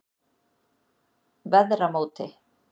Veðramóti